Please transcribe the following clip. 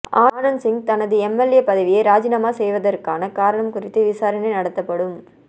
ஆனந்த் சிங் தனது எம்எல்ஏ பதவியை ராஜிநாமா செய்ததற்கான காரணம் குறித்து விசாரணை நடத்தப்படும்